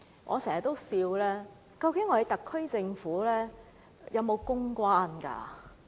我經常笑問，究竟特區政府有沒有公關？